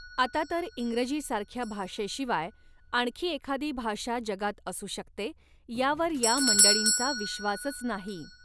आता तर इंग्रजीसारख्या भाषेशिवाय आणखी एखादी भाषा जगात असू शकते, यावर या मंडळींचा विश्वासच नाही.